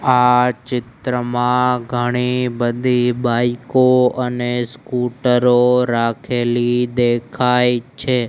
આ ચિત્રમાં ઘણી બધી બાઈકો અને સ્કૂટરો રાખેલી દેખાય છે.